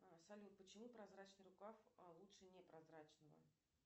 салют почему прозрачный рукав лучше не прозрачного